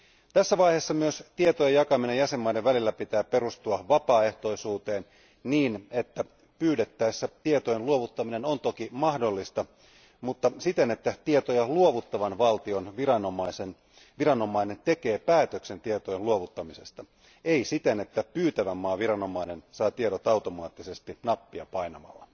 Tässä vaiheessa myös tietojen jakamisen jäsenmaiden välillä pitää perustua vapaaehtoisuuteen niin, että pyydettäessä tietojen luovuttaminen on toki mahdollista, mutta siten, että tietoja luovuttavan valtion viranomainen tekee päätöksen tietojen luovuttamisesta ei siten, että pyytävän maan viranomainen saa tiedot automaattisesti nappia painamalla.